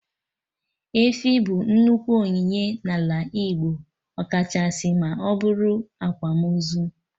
Efi bụ nnukwu onyinye na ala Igbo, ọkachasị ma ọbụrụ akwamozu